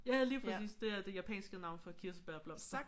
Ja ja lige præcis. Det er det japanske navn for kirsebærblomster